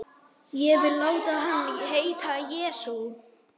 Ég vil láta hann heita Jesú.